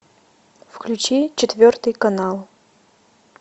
включи четвертый канал